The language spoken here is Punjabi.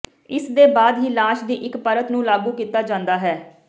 ਇਸ ਦੇ ਬਾਅਦ ਹੀ ਲਾਸ਼ ਦੀ ਇੱਕ ਪਰਤ ਨੂੰ ਲਾਗੂ ਕੀਤਾ ਜਾਂਦਾ ਹੈ